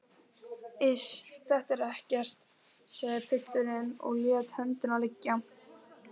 Iss, þetta er ekkert, sagði pilturinn og lét höndina liggja.